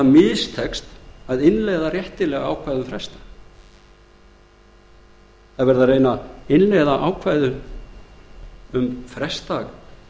mistekst að innleiða réttilega ákvæði um frestdag reynt er að innleiða ákvæði um frestdag